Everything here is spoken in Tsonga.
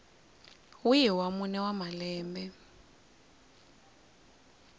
wihi wa mune wa malembe